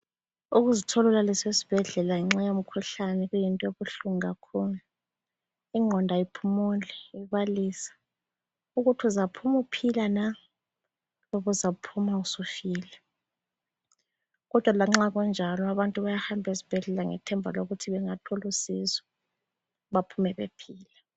Ukuzithola ulaliswe esibhedlela ngenxa yomkhuhlane kuyinto ebuhlungu kakhulu. Ingqondo ayiphumuli ibalisa, ukuthi uzaphuma uphila na kumbe uzaphuma usufile. Kodwa lanxa kunjalo abantu bayahamba esibhedlela ngethemba lokuthi bengathola usizo baphume bephila.